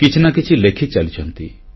କିଛି ନା କିଛି ଲେଖିଚାଲିଛନ୍ତି